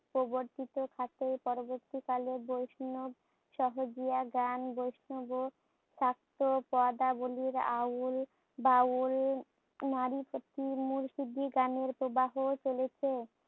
প্রবর্তিত থাকাই পরবর্তীকালে বৈষ্ণব, সহজিয়া গান বৈষ্ণব ও চার্জ পদাবলির আউল বাউল মুর্শিদি গানের প্রবাহ চলেছে।